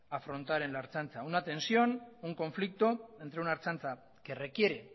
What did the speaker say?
afrontar en la ertzaintza una tensión un conflicto entre una ertzaintza que requiere